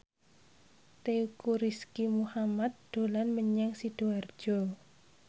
Teuku Rizky Muhammad dolan menyang Sidoarjo